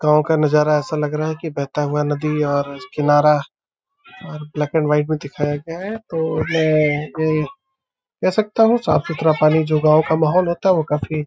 गाँव का नजारा ऐसा लग रहा है कि बहता हुआ नदी और किनारा और ब्लैक एंड वाइट में दिखाया गया है तो मैं ये कह सकता हूँ साफ सुथरा पानी जो गांव का माहौल होता है वो काफी --